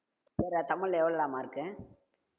சரிடா தமிழ்ல எவ்வளவுடா mark கு